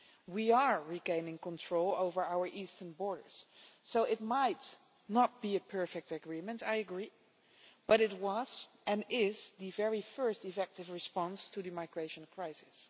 We are regaining control over our eastern borders, so it might not be a perfect agreement, I agree, but it was and is the very first effective response to the migration crisis.